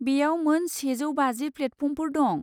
बेयाव मोन सेजौ बाजि प्लेटफर्मफोर दं।